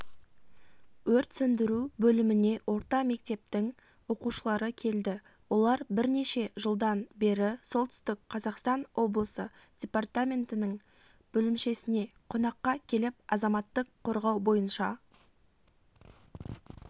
өрт сөндіру бөліміне орта мектептің оқушылары келді олар бірнеше жылдан бері солтүстік қазақстан облысы департаментінің бөлімшесіне қонаққа келіп азаматтық қорғау бойынша